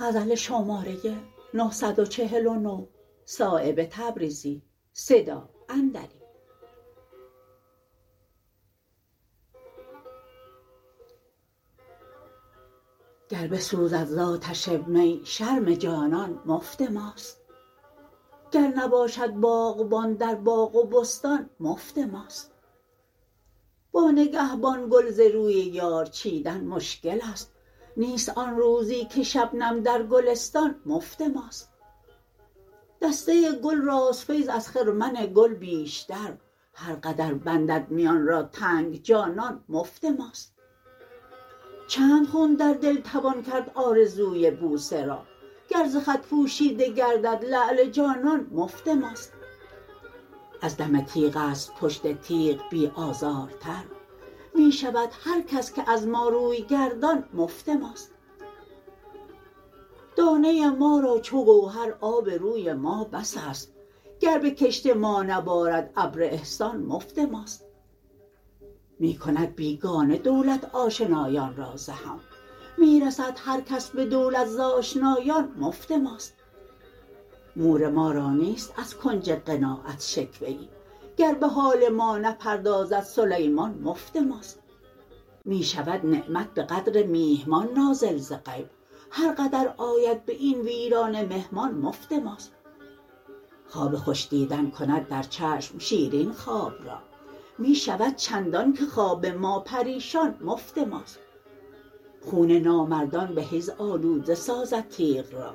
گر بسوزد ز آتش می شرم جانان مفت ماست گر نباشد باغبان در باغ و بستان مفت ماست با نگهبان گل ز روی یار چیدن مشکل است نیست آن روزی که شبنم در گلستان مفت ماست دسته گل راست فیض از خرمن گل بیشتر هر قدر بندد میان را تنگ جانان مفت ماست چند خون در دل توان کرد آرزوی بوسه را گر ز خط پوشیده گردد لعل جانان مفت ماست از دم تیغ است پشت تیغ بی آزارتر می شود هر کس که از ما روی گردان مفت ماست دانه ما را چو گوهر آب روی ما بس است گر به کشت ما نبارد ابر احسان مفت ماست می کند بیگانه دولت آشنایان را ز هم می رسد هر کس به دولت ز آشنایان مفت ماست مور ما را نیست از کنج قناعت شکوه ای گر به حال ما نپردازد سلیمان مفت ماست می شود نعمت به قدر میهمان نازل ز غیب هر قدر آید به این ویرانه مهمان مفت ماست خواب خوش دیدن کند در چشم شیرین خواب را می شود چندان که خواب ما پریشان مفت ماست خون نامردان به حیض آلوده سازد تیغ را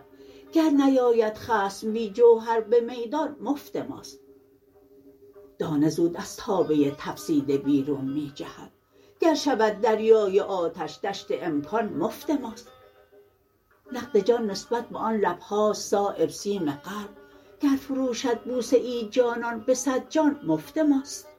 گر نیاید خصم بی جوهر به میدان مفت ماست دانه زود از تابه تفسیده بیرون می جهد گر شود دریای آتش دشت امکان مفت ماست نقد جان نسبت به آن لبهاست صایب سیم قلب گر فروشد بوسه ای جانان به صد جان مفت ماست